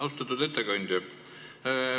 Austatud ettekandja!